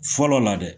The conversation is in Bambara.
Fɔlɔ la dɛ